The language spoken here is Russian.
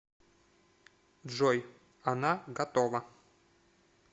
джой она готова